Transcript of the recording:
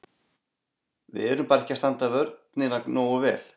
Við erum bara ekki að standa vörnina nógu vel.